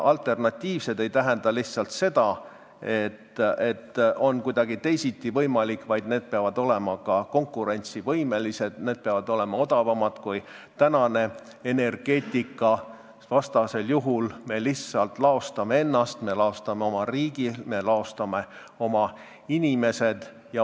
Alternatiivsed meetodid ei tähenda lihtsalt seda, et on kuidagi teisiti võimalik, vaid need peavad olema ka konkurentsivõimelised, need peavad olema odavamad kui tänane energeetika, muidu me lihtsalt laostame ennast, me laostame oma riigi, me laostame oma inimesed.